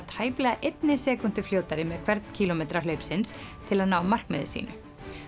tæplega einni sekúndu fljótari með hvern kílómetra hlaupsins til að ná markmiði sínu